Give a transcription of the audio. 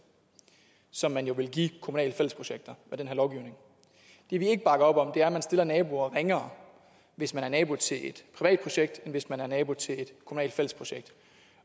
som man jo vil give kommunale fællesprojekter med den her lovgivning det vi ikke bakker op om er at man stiller naboer ringere hvis man er nabo til et privat projekt end hvis man er nabo til et kommunalt fællesprojekt